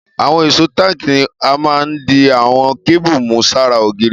Àwon ìsó tààkì ni a ma n di àwon cable mú sára ògiri